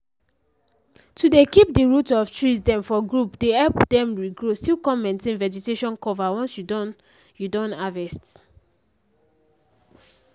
to dey keep the root of trees dem for group dey help dem regrow still come maintain vegetation cover once you don you don harvest